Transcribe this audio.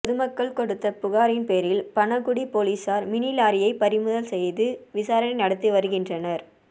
பொதுக்கள் கொடுத்த புகாரின் பேரில் பணகுடி போலீசார் மினி லாரியை பறிமுதல் செய்து விசாரணை நடத்தி வருகின்றனர்